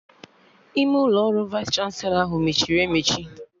Ime ụlọ ọrụ Vaịs chanselọ ahụ mechiri emechi